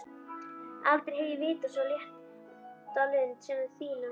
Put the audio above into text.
Aldrei hef ég vitað svo létta lund sem þína.